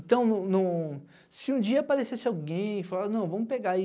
Então, em um em um, se um dia aparecesse alguém e falasse, não, vamos pegar aí,